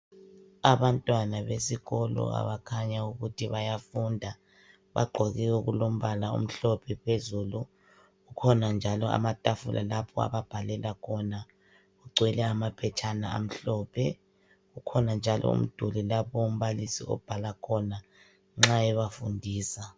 Abantwana besikolo abakhanya ukuthi bayafunda. Bagqoke okulombala omhlophe phezulu. Kukhona njalo amatafula lapho ababhalela khona. Kugcwele amaphetshana amhlophe. Ukhona njalo umduli lapho umbalisi obhala khona nxa ebafundisa.